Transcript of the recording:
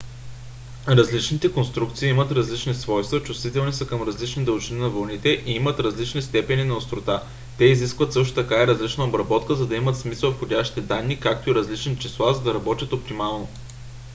различните конструкции имат различни свойства чувствителни са към различни дължини на вълните и имат различни степени на острота. те изискват също така и различна обработка за да имат смисъл входящите данни както и различни числа за да работят оптимално